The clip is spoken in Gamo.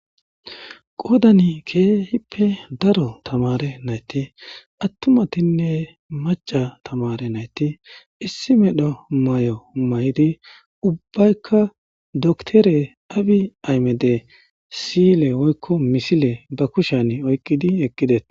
qodani keehippe daro tamare nayti attumatinne maca tamare nayti issi medho may'o may'di ubbaykka doktere abi aymede siyile woykko misile ba kushan oykqidi ekqides.